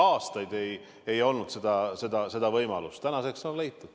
Aastaid ei olnud seda võimalust, tänaseks see on leitud.